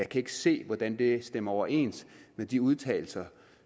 kan ikke se hvordan det stemmer overens med de udtalelser